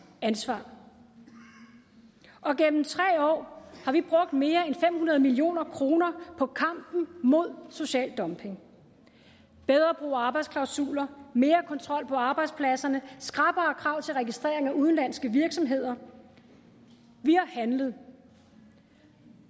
ansvar og gennem tre år har vi brugt mere end fem hundrede million kroner på kampen mod social dumping bedre brug af arbejdsklausuler mere kontrol på arbejdspladserne skrappere krav til registrering af udenlandske virksomheder vi har handlet